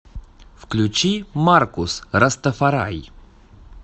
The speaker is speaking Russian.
включи маркус растафарай